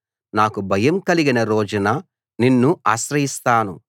నాకు భయం కలిగిన రోజున నిన్ను ఆశ్రయిస్తాను